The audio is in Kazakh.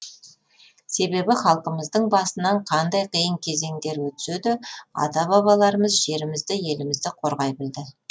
себебі халқымыздың басынан қандай қиын кезеңдер өтсе де ата бабаларымыз жерімізді елімізді қорғай білді